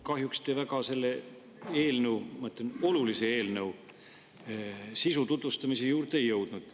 Kahjuks te selle väga olulise eelnõu sisu tutvustamise juurde ei jõudnud.